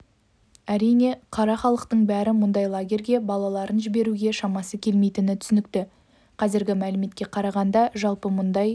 әрине қара халықтың бәрі мұндай лагерьге балаларын жіберуге шамасы келмейтіні түсінікті қазіргі мәліметке қарағанда жалпы мұндай